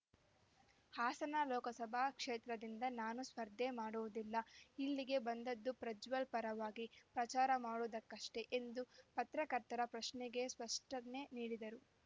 ಹಾಸನ ಲೋಕಸಭಾ ಕ್ಷೇತ್ರದಿಂದ ನಾನು ಸ್ಪರ್ಧೆ ಮಾಡುವುದಿಲ್ಲ ಇಲ್ಲಿಗೆ ಬಂದದ್ದು ಪ್ರಜ್ವಲ್ ಪರವಾಗಿ ಪ್ರಚಾರ ಮಾಡುವುದಕ್ಕಷ್ಟೆ ಎಂದು ಪತ್ರಕರ್ತರ ಪ್ರಶ್ನೆಗೆ ಸ್ಪಷ್ಟನೆ ನೀಡಿದರು